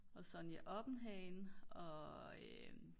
og Sonja Oppenhagen